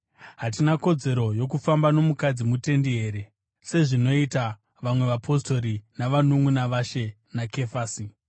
Hatina kodzero yokufamba nomukadzi mutendi here sezvinoita vamwe vapostori navanunʼuna vaShe naKefasi?